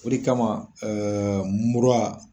O de kama ɛɛ mura